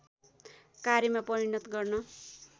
कार्यमा परिणत गर्न